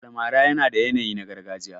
Almara yana da yanayi na gargajiya.